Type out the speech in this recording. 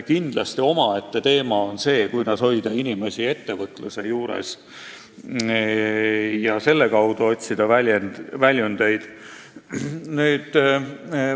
Kindlasti omaette teema on see, kuidas hoida inimesi ettevõtluse juures, et nad selle kaudu väljundeid otsiksid.